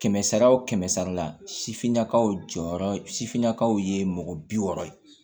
Kɛmɛ sara wo kɛmɛ sara la sifininakaw jɔyɔrɔ sifinnakaw ye mɔgɔ bi wɔɔrɔ ye